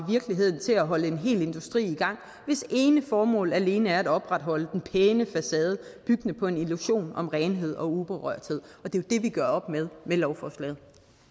virkeligheden til at holde en hel industri i gang hvis ene formål alene er at opretholde den pæne facade byggende på en illusion om renhed og uberørthed og det det vi gør op med med lovforslaget